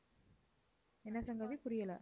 என்ன சங்கவி புரியல